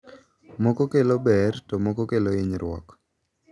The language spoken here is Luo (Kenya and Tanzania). moko kelo ber to moko kelo hinyruok.